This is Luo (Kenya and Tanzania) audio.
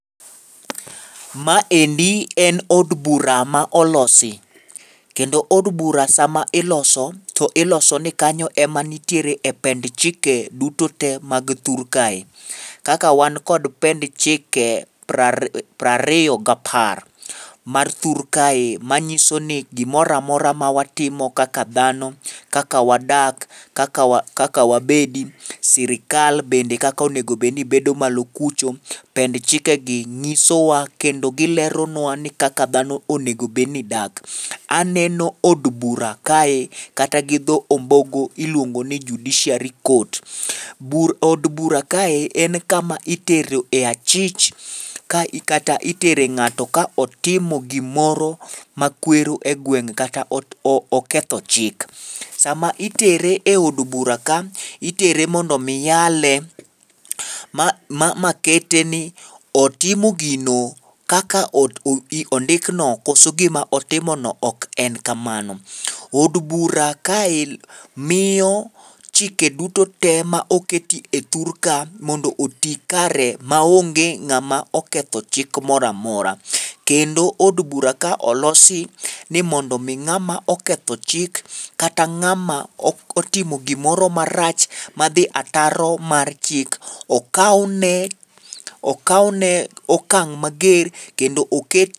Maendi en od bura ma olosi, kendo od bura sama iloso to iloso ni kanyo ema nitiere e pend chike duto te mag thur kae, kaka wan kod pend chike prari prariyo gapar mar thur kae manyiso ni gimoro amora ma watimo kaka dhano, kaka wadak, kaka wa kaka wabedi, sirkal bende kaka onego obed ni bedo malo kucho, pend chike gi nyisowa kendo gileronwa ni kaka dhano onego obed ni dak. Aneno od bura kae kata gi dho ombogo iluongo ni judiciary court. Bur od bura kae en kama itero e achich ka kata itere ng'ato ka otimo gimoro ma kwero e gweng' kata oketho chik. Sama itere e od bura ka, itere mondo mi yale ma ma kete ni otimo gino kaka ot ondikno koso gima otimono ok en kamano. Od bura kae miyo chike duto te ma oketi e thur ka mondo oti kare ma onge ng'ama oketho chik moramora. Kendo od bura kae olosi ni mondo mi ng'ama oketho chik kata ng'ama ok otimo gimoro marach madhi ataro mar chik okaone pkaone okang' mager kendo oke.